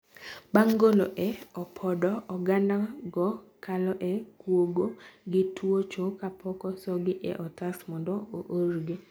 bang, golo e opodo, oganda go kalo e kuogo ki twuocho kapok osogi e otas mondo oorgi.